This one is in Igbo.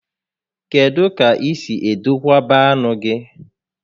Kedụ ka i si edokwaba anụ gị?